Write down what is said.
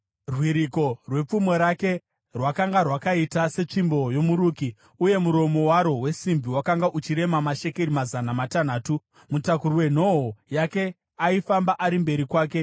Rwiriko rwepfumo rake rwakanga rwakaita setsvimbo yomuruki, uye muromo waro wesimbi wakanga uchirema mashekeri mazana matanhatu . Mutakuri wenhoo yake aifamba ari mberi kwake.